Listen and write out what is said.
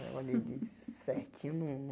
Eu olhei tudo certinho não não...